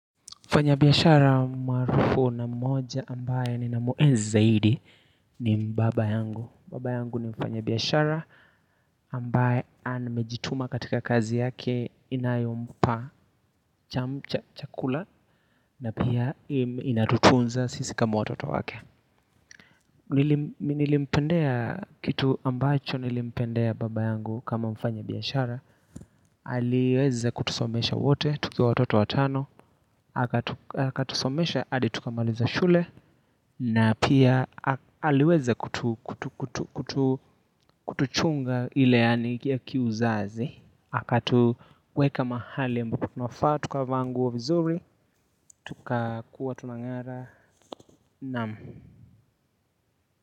Mfanya biashara maarufu na mmoja ambaye ninamuenzi zaid, i ni baba yangu. Baba yangu ni mfanya biashara ambaye amejituma katika kazi yake inayompa chamcha chakula na pia inatutunza sisi kama watoto wake. Mi nilimpendea kitu ambacho nilimpendea baba yangu kama mfanya biashara. Aliweza kutusomesha wote tukiwa watoto watano akatusomesha hadi tukamaliza shule na pia aliweza kutuchunga ile yaani ya kiuzazi akatuweka mahali ambapo kunafaa tukavaa nguo vizuri Tukakuwa tunang'ara, Naam.